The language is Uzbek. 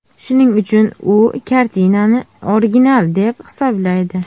Shuning uchun u kartinani original deb hisoblaydi.